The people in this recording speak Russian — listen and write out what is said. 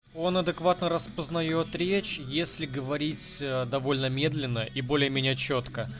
он адекватный распознает речь если говорить довольно медленно и более меня чётко